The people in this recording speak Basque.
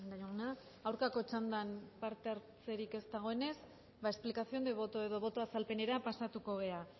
jauna aurkako txandan parte hartzerik ez dagoenez ba explicación de voto edo boto azalpenera pasatuko gara